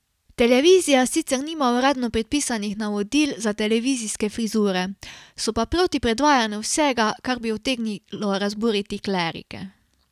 Televizija sicer nima uradno predpisanih navodil za televizijske frizure, so pa proti predvajanju vsega, kar bi utegnilo razburiti klerike.